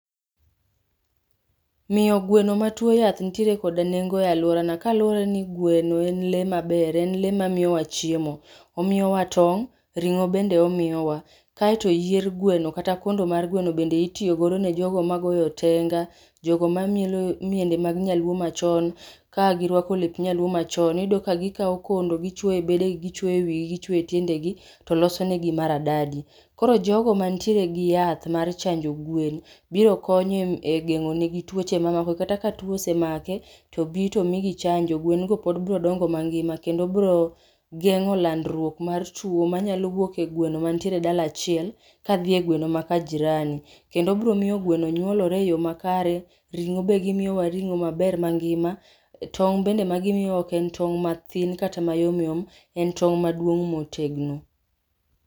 Miyo gweno matuwo yath nitire koda nengo e alworana kaluwore ni gweno en le maber en le mamiyowa chiemo. Omiyowa tong', ring'o bende omiyowa. kae to yier gweno kata kondo mar gweno bende itiyogo e jogo magoyo otenga, jogo mamielo miende mag Joluo machon, ka girwako lep Nyaluo machon, iyudo ka gikawo kondo gichwoyo ebdegi gichwoyo ewigi gichwoyo e tiendegi to losonegi maradadi. Koro jogo mantiere gi yath mar chanjo gwen, biro konyo e geng'onegi tuwoche mamoko kata ka tuwo osemake, tobi to omigi chanjo gwen go pod biro dongo mangima kendo biro geng'ol andruok mar tuwo manyalo wuok e gweno mantiere e dala achiel kadie egweno makajirani, kendo biro miyo gweno nyuolore e yo makare, ring'o be gimiyowa ringo maber mangima, tong' bende magimiyowa oken tong' mathin kata mayomyom, en tong' maduon motegno